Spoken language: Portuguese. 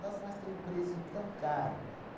Nossa, mas tem um preço tão caro.